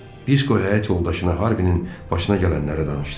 Disko həyat yoldaşına Harvining başına gələnləri danışdı.